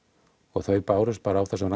og þau bárust bara á þessum